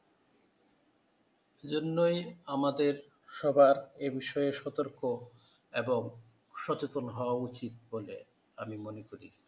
এজন্যই আমাদের সবার এ বিষয়ে সতর্ক এবং সচেতন হওয়া উচিত বলে আমি মনে করি ।